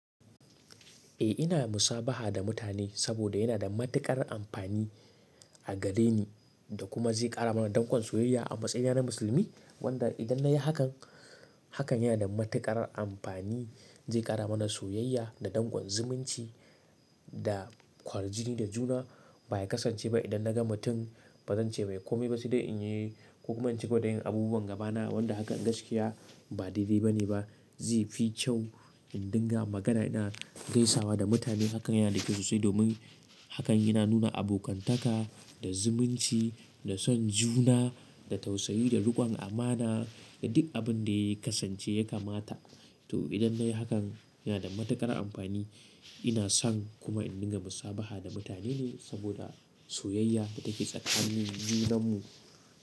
Eh ina musabaha da mutane saboda yana da matuƙar amfani a gare ni da kuma zai ƙara mana dankon soyayya a matsayina na musulmi. Hakan nada matuƙar amfani. Zai ƙarama daƙon soyayya da kwaljini da juna ba ya kasance ba idan na ga mutum ba zan ce mai kome ba sai dai in yi saboda yin hakan Agabama ba daidai bane. Zai fi kyau in dinga magana ina gaisawa da mutane hakan yana da kyau sosai domin hakan yana nuna abokantaka da zumunci da son juna da tausayi da riƙon amana da duk abin da ya kasance ya kamata. To idan na yi hakan yana da matuƙar amfani ina son kuma in dinga musabaha da mutane ne saboda soyayya da take tsakanin junanmu.